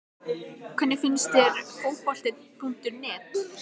Hvernig finnst þér Fótbolti.net?